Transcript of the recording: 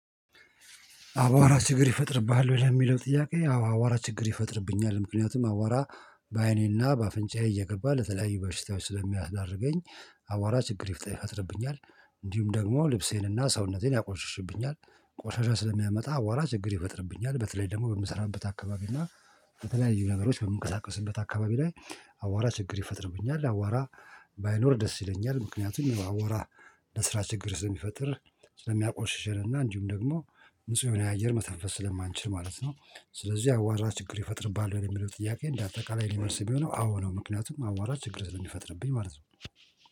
አቧራ ችግር ይፈጥርብሃል ወይ የሚለው ጥያቄ? አዎ አቧራ ችግር ይፈጥርብኛል ምክንያቱም አቧራ በአይኔና በአፍንጫዬ እየገባ ለተለያዩ በሽታዎች ስለሚያስዳርገኝ። አቧራ ችግር ይፈጥርብኛል። እንዲሁም ደግሞ ልብሴንና ሰውነቴን ያቆሽሽብኛል ቆሻሻ ስለሚያመጣ አቧራ ችግር ይፈጥርብኛል። በተለይ ደግሞ በምሰራበት አካባቢ እና በተለያዩ ነገሮች በምንቀሳቀስበት አካባቢ ላይ። አቧራ ችግር ይፈጥርብኛል አቧራ ባይኖር ደስ ይለኛል። ምክንያቱም አቧራ ለስራ ችግር ስለሚፈጥር ስለሚያቆሽሽና እንዲሁም ደግሞ ንጹህ የሆነ አየር መተንፈስ ስለማንችል ማለት ነው። ስለዚህ አቧራ ችግር ይፈጥርብሃል ወይ የሚለው ጥያቄ? እንደ አጠቃላይ ሊመልስ ቢሆነው አዎ ነው። ምክንያቱም አቧራ ችግር ስለሚፈጥርብኝ ማለት ነው